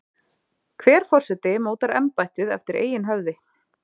hver forseti mótar embættið eftir eigin höfði